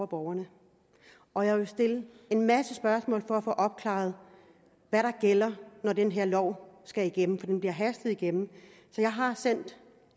borgerne og jeg vil stille en masse spørgsmål for at få opklaret hvad der gælder når den her lov skal igennem for den bliver hastet igennem jeg har sendt